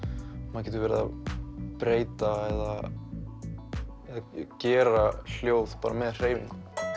maður getur verið að breyta eða gera hljóð bara með hreyfingum